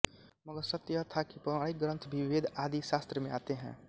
मगर सत्य यह था कि पौराणिक ग्रंथ भी वेद आदि शास्त्र में आते हैं